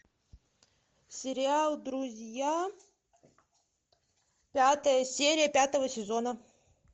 сериал друзья пятая серия пятого сезона